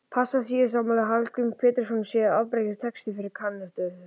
Passíusálmar Hallgríms Péturssonar séu afbragðs texti fyrir kantötu.